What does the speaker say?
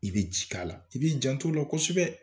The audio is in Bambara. I bɛ ji k'a la i b'i jan t'alo la kosɛbɛ